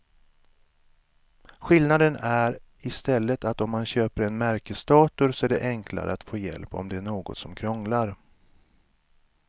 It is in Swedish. Skillnaden är i stället att om man köper en märkesdator så är det enklare att få hjälp om det är något som krånglar.